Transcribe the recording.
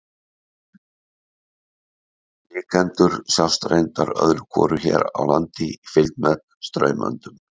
Blikendur sjást reyndar öðru hvoru hér á landi í fylgd með straumöndum.